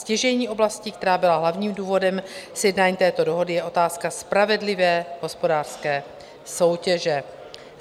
Stěžejní oblastí, která byla hlavním důvodem sjednání této dohody, je otázka spravedlivé hospodářské soutěže.